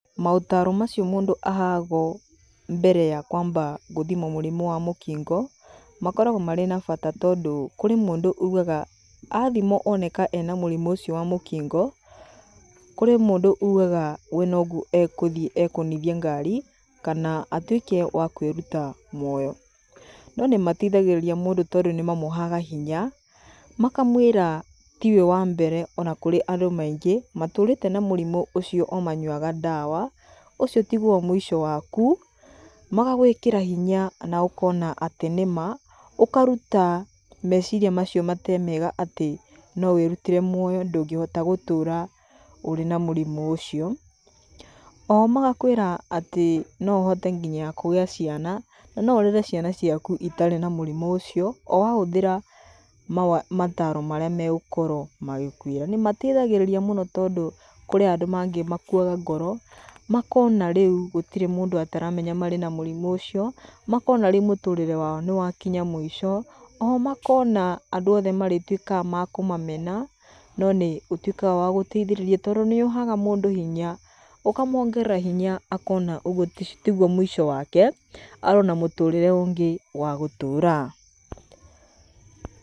Maũtaaro macio mũndũ ũheagwo mbere ya gũthimwo mũrimũ wa mũkingo nĩ makoragwo marĩ na bata tondũ kũrĩ mũndũ augaga athimwo oneka ena mũrimũ ũcio wa mũkingo kũrĩ mũndũ ugaga we nogũthiĩ ekũthiĩ egũthithie ngari kana tuĩke wa kwĩruta moyo. Nonĩmateithagĩrĩria mũndũ tondũ nĩmamũheaga hinya makamwĩra tiwe wambere ona kũrĩ andũ maĩngĩ matũrĩte na mũrimũ ũcio omanyuaga ndawa, ũcio tiguo mũico waku. Magagwĩkĩra hinya na ũkona atĩnĩma, ũkaruta meciria macio matarĩ mega atĩ nowĩrutire muoyo ndũngĩhota gũtũũra ũtarĩ na mũrimũ ũcio. Ohomagakwĩra atĩ noũhote nginya kũgĩa ciana na noũrere ciana ciaku itarĩ na mũrimũ ũcio owahũthĩra mataro marĩa magũkorwo magĩkwĩra. nĩmateithagĩrĩria mũno tondũ kũrĩ mandũ mangĩ makuaga ngoro makona rĩu gũtirĩ mũndũ ataramenya mena mũrimo ũcio, makona rĩu mũtũrĩre wao nĩwakinya mũico. Oho makona andũ othe marĩtuĩkaga makũmamena, nonĩũtuĩkaga wa kũmateithĩrĩria tondũ nĩũheaga mũndũ hinya, ũkamongerera hinya makona ũyũ tiguo mũisho wake arĩ na mũtũrĩre ũngĩ wagũtũra.